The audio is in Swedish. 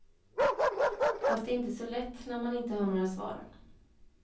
Fast det är inte så lätt, när man inte har några svar.